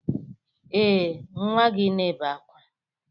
Ee, nwa gị na-ebe ákwá.